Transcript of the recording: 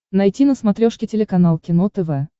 найти на смотрешке телеканал кино тв